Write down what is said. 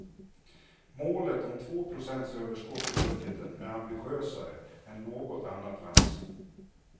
Målet om två procents överskott i budgeten är ambitiösare än något annat lands.